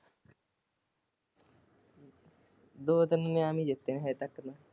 ਦੋ ਤਿਨ ਇਨਾਮ ਵੀ ਜਿਤੇ ਹਜੇ ਤਕ ਤੇ।